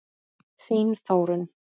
Þín Þórunn.